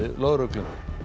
lögreglu